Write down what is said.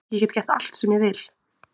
Ég get gert allt sem ég vil